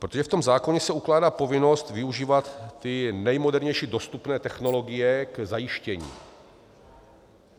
Protože v tom zákoně se ukládá povinnost využívat ty nejmodernější dostupné technologie k zajištění.